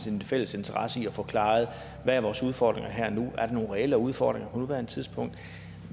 en fælles interesse i at få afklaret hvad vores udfordringer er her og nu om er nogen reelle udfordringer på nuværende tidspunkt